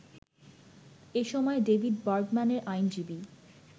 এসময় ডেভিড বার্গম্যানের আইনজীবী